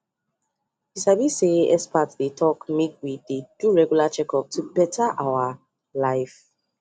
you sabi say experts dey talk make we dey do regular checkup to better our life